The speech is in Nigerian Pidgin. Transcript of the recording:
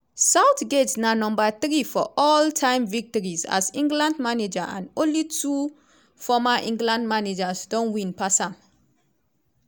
southgate na number three for all time victories as england manager and na only two former england managers don win pass am.